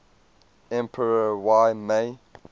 emperor y mei